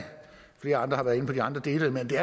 flere andre har været inde på de andre dele men det